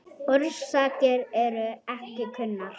Orsakir eru ekki kunnar.